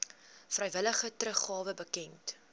vrywillige teruggawe bekend